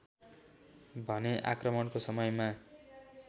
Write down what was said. भने आक्रमणको समयमा